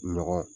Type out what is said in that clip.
Ɲɔgɔn